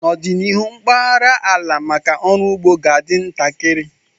N'ọdịnihu, mpaghara ala maka ọrụ ugbo ga-adị ntakịrị